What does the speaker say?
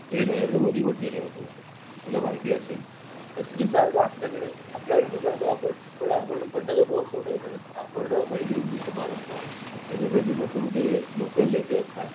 तिकडे नरेंद्र मोदी पण गेले होते तुला माहिती असेल तसं जसा आपल्याकडे पण करतो आपण पण आपण पतंग महोत्सव ठेवत नाही ना आपण हळदीकुंकू समारंभ म्हणजे असे जे मोठे मोठे लोकल नेते असतात